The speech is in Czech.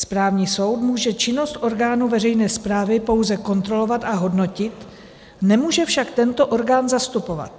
Správní soud může činnost orgánu veřejné správy pouze kontrolovat a hodnotit, nemůže však tento orgán zastupovat.